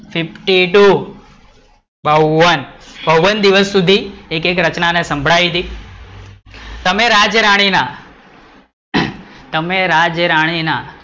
fifty two, બાવન, બાવન દિવસ સુધી એકે એક રચના સંભળાયી હતી, તમે રાજરાણી ના, તમે રાજરાણી ના,